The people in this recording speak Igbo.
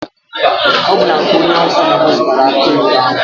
Ọ bụ na nke onye awụsa ka mụ zụtara akụ oyibo ahụ.